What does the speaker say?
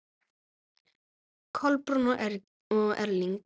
Kolbrún og Erling.